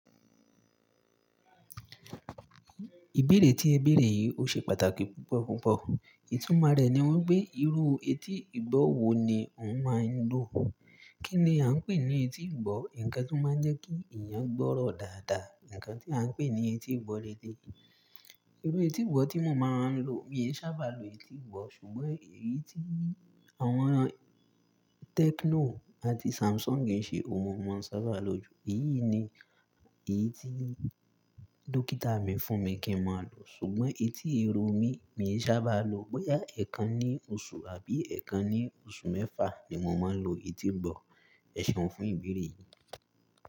Ìbéèrè tí ẹ béèrè yìí ò ṣe pàtàkì púpọ̀ púpọ̀. Ìtumọ̀ rẹ̀ ni wípé, irú etí ìgbọ́ wo ni ó máa ń lò? Kí ni à ń pè ní etí ìgbọ́? Ǹkan tí ó máa ń jẹ́ kí èèyàn gbọ́rọ̀ dáadáa. Ǹkan tí à ń pè ní etí ìgbọ́ lòde. Irú etí ìgbọ́ tí mo máa ń lò, mi ò sábà lo etí ìgbọ́, ṣùgbọ́n èyí tí àwọn Techno àti Samsung ń ṣe, òun mo máa ń sábà lò ju. Èyí ni èyí tí dókítà mi fún mi kí mo lò. Ṣùgbọ́n etí irun mi, mi ò sábà lo. Bóyá ẹ̀ kan ní oṣù àbí ẹ̀ kan ní oṣù mẹ́fà ni mo máa ń lo etí ìgbọ́. Ẹ̀séun fún ìbéèrè yìí.